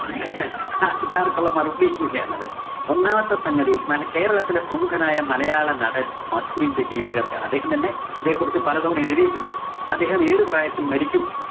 ആള്‍ക്കാര്‍ക്കുള്ള മറുപടിയും കൂടിയാണത്. ഒന്നാമത്തെ സംഗതി മല കേരളത്തിലെ പ്രമുഖനായ മലയാള നടന്‍ മധുവിന്റെ ജീവിത കഥയാണ്‌. അദ്ദേഹം തന്നെ അതെക്കുറിച്ച് പലതവണ എഴുതിയിട്ടുണ്ട്. അദ്ദേഹം ഏതു പ്രായത്തില്‍ മരിക്കും